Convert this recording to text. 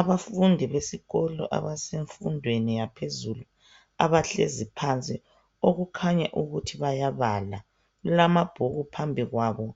Abafundi besikolo abasemfundweni yaphezulu abahlezi phansi okukhanya ukuthi bayabala, kulamabhuku phambi kwabo